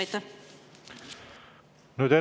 Aitäh!